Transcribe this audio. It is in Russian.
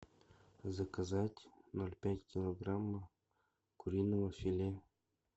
заказать ноль пять килограмм куриного филе